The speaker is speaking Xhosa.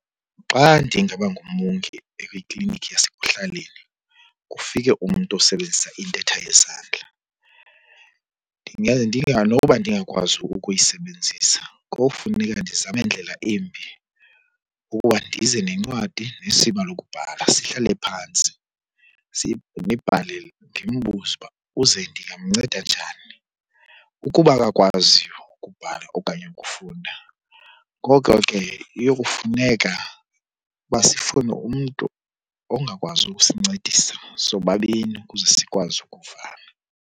Xa ndingaba ngumongi kwikliniki yasekuhlaleni kufike umntu osebenzisa intetha yezandla, noba ndingakwazi ukuyisebenzisa kofuneka ndizame ndlela yimbi ukuba ndize nencwadi nesiba lokubhala. Sihlale phantsi nibhale , ndimbuze uba uze ndingamnceda njani. Ukuba akakwazi ukubhala okanye ukufunda ngoko ke iyokufuneka uba sifune umntu ongakwazi ukusincedisa sobabini ukuze sikwazi ukuvana.